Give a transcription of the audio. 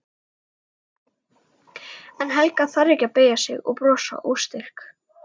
En Helga þarf ekki að beygja sig og brosa óstyrk.